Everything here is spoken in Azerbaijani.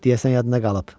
Deyəsən yadına qalıb.